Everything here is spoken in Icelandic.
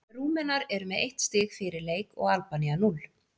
Rúmenar eru með eitt stig fyrir leik og Albanía núll.